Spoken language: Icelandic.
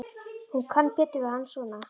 Hún kann betur við hann svona.